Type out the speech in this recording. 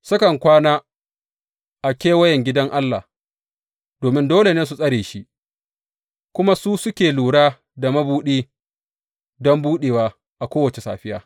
Sukan kwana a kewayen gidan Allah, domin dole su tsare shi; kuma su suke lura da mabuɗi don buɗewa a kowace safiya.